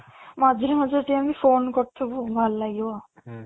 ମଝିରେ ମଝିରେ ଟିକେ ଏମିତି phone କରୁଥିବୁ ଭଲ ଲାଗିବ